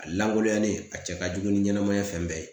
A lankolonyalen a cɛ ka jugu ni ɲɛnɛmaya fɛn bɛɛ ye .